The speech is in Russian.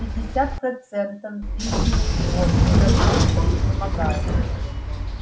пятьдесят процентов взвизгивает он уже просто изнемогая